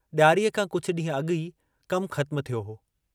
डियारीअ खां कुझ डींहं अगु ई कमु ख़त्म थियो हो।